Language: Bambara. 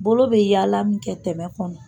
Bolo bɛ yaala min kɛ tɛmɛ kɔnɔ.